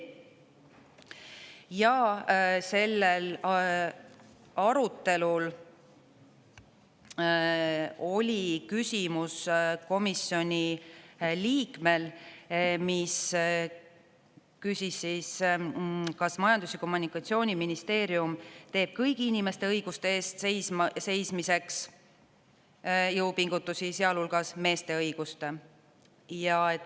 Ja sellel arutelul oli küsimus komisjoni liikmel, kes küsis, kas Majandus- ja Kommunikatsiooniministeerium teeb kõigi inimeste õiguste eest seismiseks jõupingutusi, sealhulgas meeste õiguste.